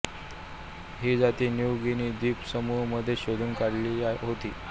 ही जाति New Guinea द्वीप समूह मध्ये शोधून काढली होती